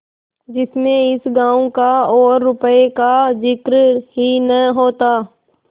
जिसमें इस गॉँव का और रुपये का जिक्र ही न होता